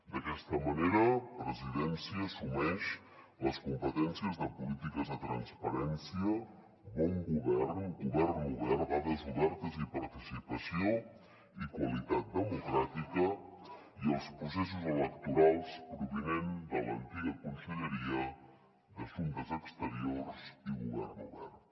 d’aquesta manera presidència assumeix les competències de polítiques de transparència bon govern govern obert dades obertes i participació i qualitat democràtica i els processos electorals provinent de l’antiga conselleria d’assumptes exteriors i govern obert